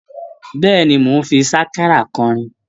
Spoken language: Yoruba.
Bẹ́ẹ̀ni, mò ń fi sákárà kọrin?